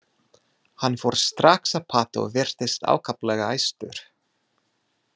Hann fór strax að pata og virtist ákaflega æstur.